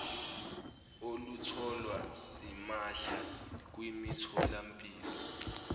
olutholwa simahla kwimitholampilo